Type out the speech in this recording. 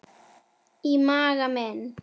Í maga mín